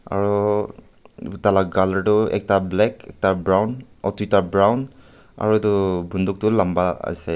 aroo taila colour toh ekta black toita brown oo toita brown aro etu buduk toh lamba asae.